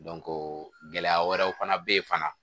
gɛlɛya wɛrɛw fana bɛ yen fana